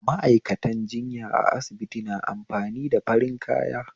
Ma'aikatan jinya a asibiti na amfani da farin kaya